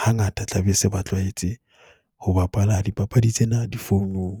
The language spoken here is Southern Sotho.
hangata tla be se ba tlwahetse ho bapala dipapadi tsena difoung.